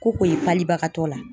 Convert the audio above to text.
Ko o ye palibagatɔ la.